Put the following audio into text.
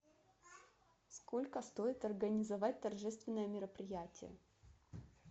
сколько стоит организовать торжественное мероприятие